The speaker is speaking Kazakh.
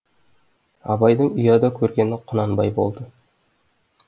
абайдың ұяда көргені құнанбай болды